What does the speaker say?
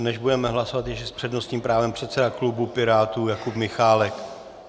Než budeme hlasovat, ještě s přednostním právem předseda klubu Pirátů Jakub Michálek.